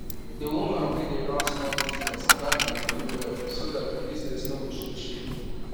d woman wey dey run small business plan her money well so that d business no go shake shake